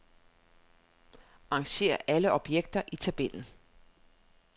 Arrangér alle objekter i tabellen.